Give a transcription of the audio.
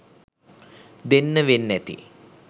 දෙන්න වෙන්නැති.